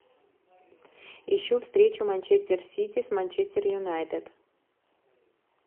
ищу встречу манчестер сити с манчестер юнайтед